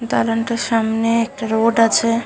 দালান টির সামনে রোড আছে ।